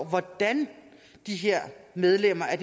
hvordan medlemmerne af